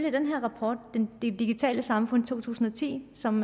i den her rapport det digitale samfund to tusind og ti som